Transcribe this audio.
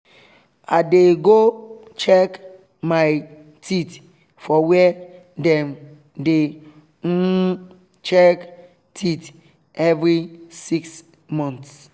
i dey go check my teeth for where dem dey um check teeth every 6 month